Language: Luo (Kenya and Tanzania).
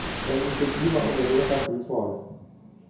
En nikech gima ong'ere kaka ' fre fall '.